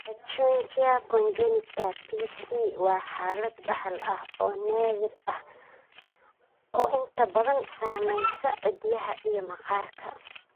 Pachyonychia congenita (PC) waa xaalad dhaxal ah oo naadir ah oo inta badan saameysa ciddiyaha iyo maqaarka.